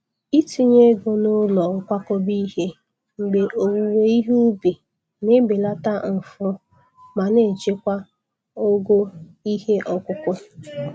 Itinye ego n’ụlọ nkwakọba ihe mgbe owuwe ihe ubi na-ebelata mfu ma na-echekwa ogo ihe ọkụkụ.